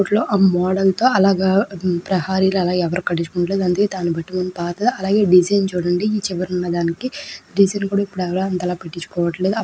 ఆ మోడల్ తో డిజైన్ చుడండి ఎవరు ఆలా కటించుకోరు.